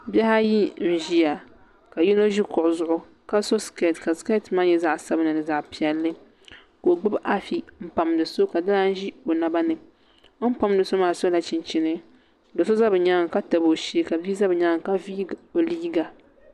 Bihi ayi n ʒiya ka yino ʒi kuɣu zuɣu ka so skɛt ka skɛt maa nyɛ zaɣ sabinli ni zaɣ piɛlli ka o gbubi afi n pamdi so ka di lan ʒi o naba ni bi ni pamdi so maa sola chinchini do so ʒɛ bi nyaanga ka tabi o shee ka bia ʒɛ bi nyaanga ka viigi o liiga